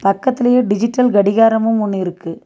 பக்கத்துலே டிஜிட்டல் கடிகாரமும் ஒன்னு இருக்கு.